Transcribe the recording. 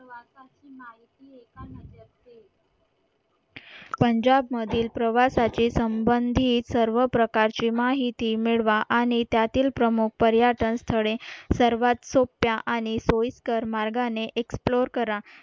पंजाब मधील प्रवासाचे संबंधित सर्व प्रकारची माहिती मिळवा आणि त्यातील प्रमुख पर्यटन स्थळे सर्वात सोप्या आणि सोयीस्कर मार्गाने एक्सप्लोअर करा